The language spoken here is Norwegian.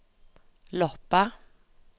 Loppa